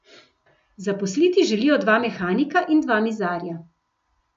Zaposliti želijo dva mehanika in dva mizarja.